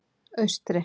Austri